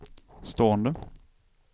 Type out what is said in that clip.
stående